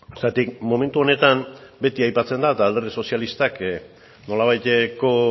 zergatik momentu honetan beti aipatzen da eta alderdi sozialistak nolabaiteko